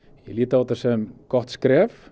ég lít á þetta sem gott skref